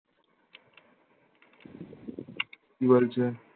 কি বলছে?